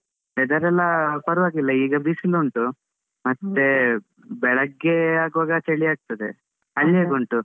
Weather ಎಲ್ಲಾ ಪರ್ವಾಗಿಲ್ಲ, ಈಗ ಬಿಸ್ಲುಂಟು, ಮತ್ತೇ ಬೆಳಗ್ಗೆ ಆಗ್ವಾಗ ಚಳಿ ಆಗ್ತದೆ, ಅಲ್ಲ್ ಹೇಗ್ ಉಂಟು?